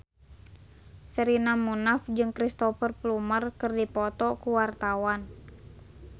Sherina Munaf jeung Cristhoper Plumer keur dipoto ku wartawan